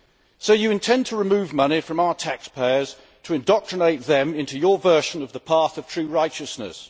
So it intends to remove money from UK taxpayers to indoctrinate them into its version of the path of true righteousness.